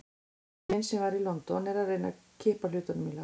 Frændi minn, sem var í London, er að reyna að kippa hlutunum í lag.